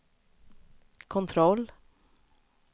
kontroll